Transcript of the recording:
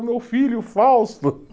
Meu filho Fausto